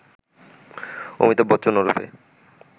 অমিতাভ বচ্চন ওরফে